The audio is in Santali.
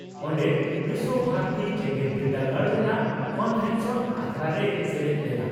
ᱚᱱᱰᱮ ᱵᱤᱥᱣᱚᱵᱷᱟᱨᱚᱛᱤ ᱡᱮᱜᱮᱛ ᱵᱤᱨᱫᱟᱹᱜᱟᱲ ᱨᱮᱱᱟᱜ ᱠᱚᱱᱵᱷᱚᱠᱮᱥᱚᱱ ᱟᱠᱷᱲᱟ ᱨᱮᱭ ᱥᱮᱞᱮᱫ ᱞᱮᱱᱟ ᱾